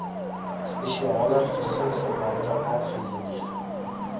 spesiale gesinsverwante aangeleenthede